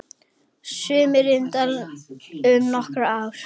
Sumir yngjast um nokkur ár.